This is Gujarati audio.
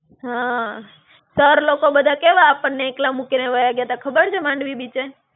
હાં, sir લોકો બધા કેવા આપણને એકલા મૂકીને વાયા ગ્યા તા ખબર છે માંડવી બીચે?